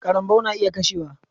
Karambaw na iya kashewa.